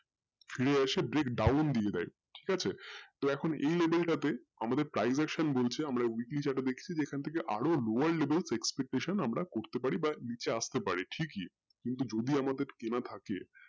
ফিরে আসে আবার break down দিয়েছিলো তো এখন ঠিকাছে level তাতে আমাদের privection বলছে আমরা উত্বেজনীয় ব্যাক্তি যেখান থাকে আরো lower levelexpectation করতে পারি ঠিকই কিন্তু যদি আমাদের কেনা থাকে